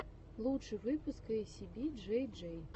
лучший выпуск эйсиби джей джей